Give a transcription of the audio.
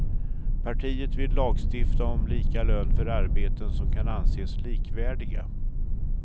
Partiet vill lagstifta om lika lön för arbeten som kan anses likvärdiga.